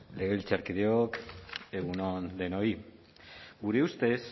legebiltzarkideok egun on denoi gure ustez